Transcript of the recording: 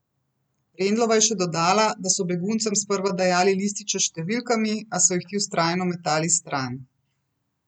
Rendlova je še dodala, da so beguncem sprva dajali lističe s številkami, a so jih ti vztrajno metali stran.